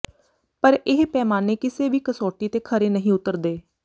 ਪਰ ਇਹ ਪੈਮਾਨੇ ਕਿਸੇ ਵੀ ਕਸੌਟੀ ਤੇ ਖਰੇ ਨਹੀਂ ਉੱਤਰਦੇ